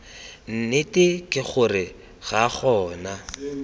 nnete ke gore ga gona